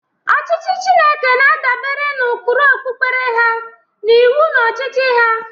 Ọchịchị Chineke na-adabere n'ụkpụrụ okpukpe ha na iwu na ọchịchị ha.